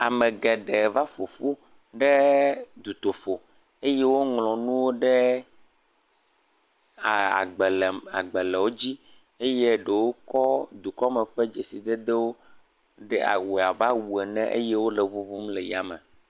Ame geɖe va ƒoƒu ɖe dutoƒo eye woŋlɔ nuwo ɖe agbalẽwo dzi eye ɖewo kɔ dukɔme ƒe dzesidedewo de awu abe awu ene eye wole eŋuŋum le yame.